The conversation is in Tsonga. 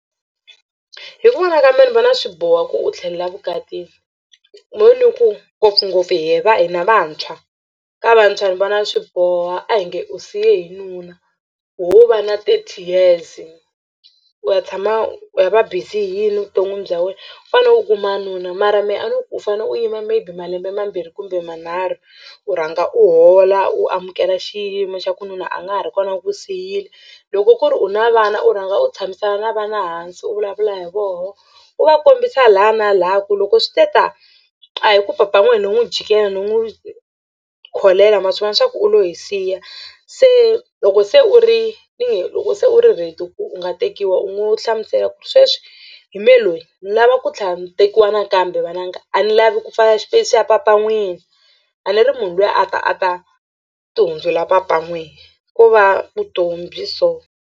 Hi ku vona ka mehe ni vona swi boha ku u tlhelela vukatini mo ni ku ngopfungopfu hi va hina vantshwa ka vantshwa ni vona swi boha a hi nge u siye hi nuna ho va na thirty years u ya tshama u ya va busy hi yini evuton'wini bya wena u kuma wanuna mara mehe a ni ku u fane u yima maybe malembe mambirhi kumbe manharhu u rhanga u hola u amukela xiyimo xa ku nuna a nga ha ri kona u ku siyile loko ku ri u na vana u rhanga u tshamisana na vana hansi u vulavula hi vona u va kombisa laha na laha ku loko swi te tani a hi ku papa n'wina no n'wi jikela no n'wi kholela ma swi vona swa ku u lo hi siya se loko se u ri loko se u ri ready ku u nga tekiwa u ngo hlamusela ku ri sweswi hi mehe loyi ni lava ku ntlhela ni tekiwa nakambe vananga a ni lavi ku pfala xipeyisi xa papa n'wini a ni ri munhu luya a ta a ta tihundzula papa n'wini ko va vutomi byi so.